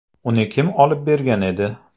Uni kim olib bergan edi?